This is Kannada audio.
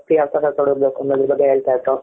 ಯಾವ ತರದಲ್ಲಿ ತೊಡಗಬೇಕು ಅನ್ನೋದ್ ಬಗ್ಗೆ ಹೇಳ್ತಾ ಇದ್ರು.